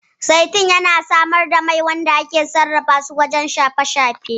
Zaitun yana samar da mai wanda ake sarrafa shi wajen haɗa wasu kayan shafe-shafen